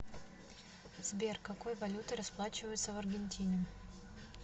сбер какой валютой расплачиваются в аргентине